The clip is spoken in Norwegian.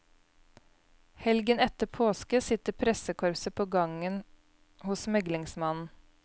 Helgen etter påske sitter pressekorpset på gangen hos meglingsmannen.